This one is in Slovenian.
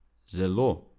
Zelo!